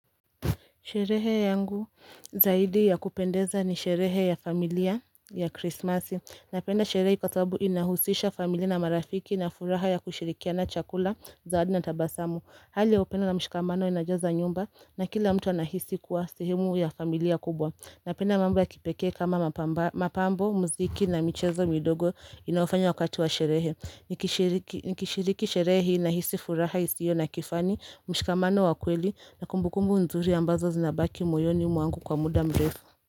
Sherehe yangu zaidi ya kupendeza ni sherehe ya familia ya krismasi. Napenda sherehe hii kwa sababu inahusisha familia na marafiki na furaha ya kushirikia na chakula zawadi na tabasamu. Hali upendo na mshikamano inajaza nyumba na kila mtu anahisi kuwa sehemu ya familia kubwa. Napenda mambo ya kipekee kama mapambo, muziki na michezo midogo inayofanywa wakati wa sherehe. Nikishiriki Nikishiriki sherehe na hisi furaha isiyo na kifani mshikamano wa kweli na kumbukumbu nzuri ambazo zinabaki moyoni mwangu kwa muda mrefu.